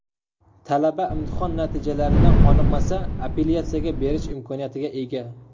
Talaba imtihon natijalaridan qoniqmasa, apellyatsiyaga berish imkoniyatiga ega.